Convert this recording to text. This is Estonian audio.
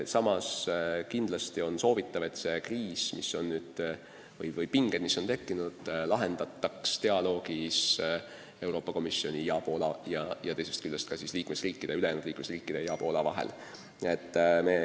Samas on kindlasti väga vaja, et tekkinud pinge lahendataks dialoogis Euroopa Komisjoni ja Poola ning teisest küljest ka ülejäänud liikmesriikide ja Poola vahel.